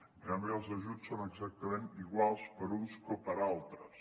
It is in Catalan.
en canvi els ajuts són exactament iguals per a uns que per a altres